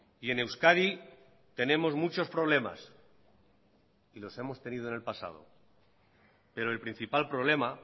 y en euskadi tenemos muchos problemas y los hemos tenido en el pasado pero el principal problema